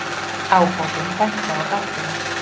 Ábótinn benti á gáttina.